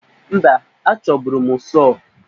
Mba, achọburu m sọọ